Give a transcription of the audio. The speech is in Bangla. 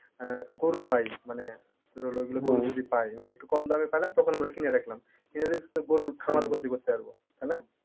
আহ গরু পাই মানে তোর হলো ঐগুলো গরু যদি পাই মানে একটু কম দামে পাইলাম তখন আমরা কিনে রাখলাম করতে পারব তাই না?